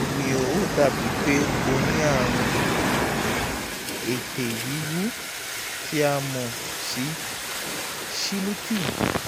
báwo ni o? ó dàbí pé ẹ ní àrùn [ ètè wíwú tí a mọ̀ sí cheilitis